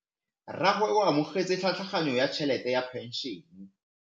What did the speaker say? Rragwe o amogetse tlhatlhaganyô ya tšhelête ya phenšene.